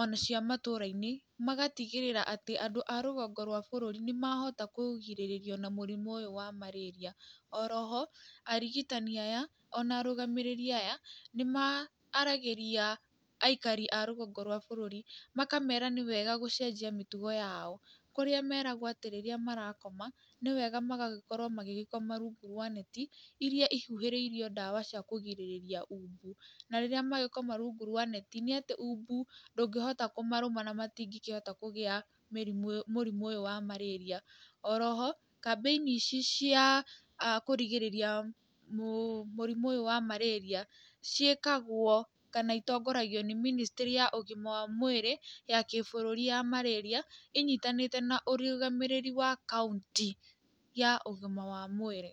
ona cia matũra-inĩ, magatigĩrĩra atĩ andũ a rũgongo rwa bũrũri nĩmahota kũgirĩrĩrio namũrimũ ũyũ wa marĩria. Oro ho arigitani aya ona arũgamĩrĩri aya nĩmaaragĩria aikari a rũgongo rwa bũrũri makamera nĩwega gũcenjia mĩtugo yao, kũrĩa meragwo atĩ rĩrĩa marakoma nĩ wega magagĩkorwo magĩgĩkoma rungu rwa neti iria ihuhĩirwo ndawa cia kũrigĩrĩria umbu na rĩrĩa magĩkoma rungu rwa neti, nĩatĩ umbu ndũngĩhota kũmarũma na matingĩkĩhota kũgĩa mĩrimũ mũrimũ ũyũ wa marĩria. Oro ho, kambĩni ici cia kũrigĩrĩria mũrĩmu ũyũ wa marĩria, ciĩkagwo kana itongoragio nĩ ministry ya ũgima wa mwĩrĩ ya kĩbũrũri ya marĩria, ĩnyitanĩte na ũrũgamĩrĩri wa kaunti ya ũgima wa mwĩrĩ.